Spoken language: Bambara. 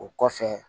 O kɔfɛ